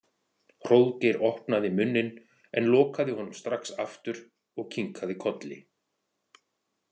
Hróðgeir opnaði munninn en lokaði honum strax aftur og kinkaði kolli.